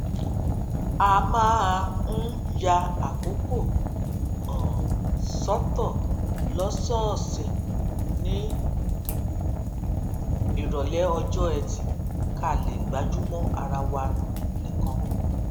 a máa ń ya àkókò um sótò lósòòsè ní ìròlé ọjọ ẹti ká lè gbájú mó ara wa nìkan